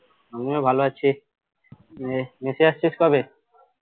আমি ও ভালো আছি নিয়ে mess এ আসছিস কবে?